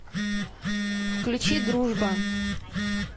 включи дружба